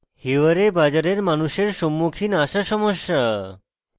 hiware bazar এর মানুষের সম্মুখীন আসা সমস্যা